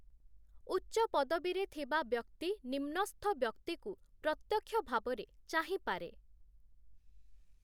ଉଚ୍ଚପଦବୀରେ ଥିବା ବ୍ୟକ୍ତି ନିମ୍ନସ୍ଥ ବ୍ୟକ୍ତିକୁ ପ୍ରତ୍ୟକ୍ଷଭାବରେ ଚାହିଁପାରେ ।